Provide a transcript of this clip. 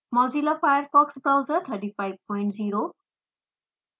mozilla firefox browser 350